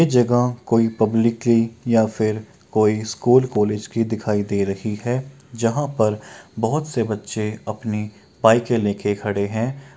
ये गांव कोई पब्लिक या फिर कोई स्कूल कॉलेज की दिखाई दे रही है जहाँ पर बहुत से बच्चे अपने बाइक लेके खड़े हैं।